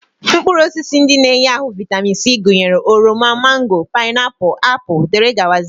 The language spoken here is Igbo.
Mkpụrụosisi ndị na-enye ahụ vaịtamin C gụnyere oroma, mango, paịnapụl, apụl, dg